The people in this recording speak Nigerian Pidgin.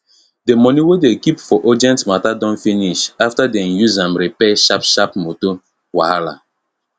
d money wey dem keep for urgent matta don finish afta dem use am repair sharp sharp motor wahala